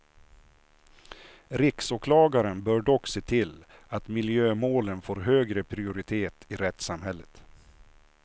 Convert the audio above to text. Riksåklagaren bör dock se till att miljömålen får högre prioritet i rättssamhället.